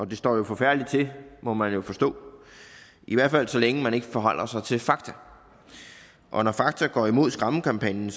det står jo forfærdeligt til må man forstå i hvert fald så længe man ikke forholder sig til fakta og når fakta går imod skræmmekampagnen